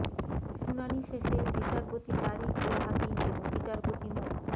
শুনানি শেে বিচারপতি তারিক উল হাকিম এবং বিচারপতি মো